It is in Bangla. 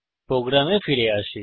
আমাদের প্রোগ্রামে ফিরে আসি